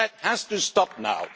That has to stop now.